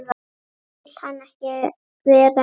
Vill hann ekki vera áfram?